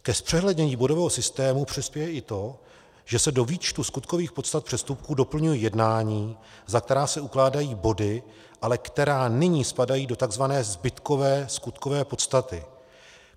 Ke zpřehlednění bodového systému přispěje i to, že se do výčtu skutkových podstat přestupků doplňují jednání, za která se ukládají body, ale která nyní spadají do tzv. zbytkové skutkové podstaty.